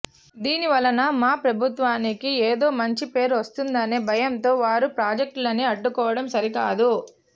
దీని వలన మా ప్రభుత్వానికి ఏదో మంచి పేరు వచ్చేస్తుందనే భయంతో వారు ప్రాజెక్టులని అడ్డుకోవడం సరికాదు